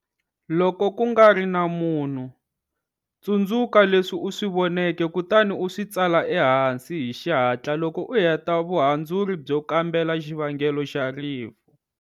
Loko ku nga ri na munhu, tsundzuka leswi u swi voneke kutani u swi tsala ehansi hi xihatla loko u heta vuhandzuri byo kambela xivangelo xa rifu.